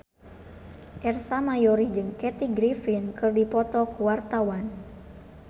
Ersa Mayori jeung Kathy Griffin keur dipoto ku wartawan